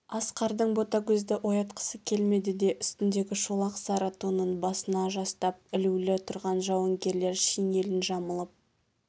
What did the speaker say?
асқардың ботагөзді оятқысы келмеді де үстіндегі шолақ сары тонын басына жастап ілулі тұрған жауынгерлер шинелін жамылып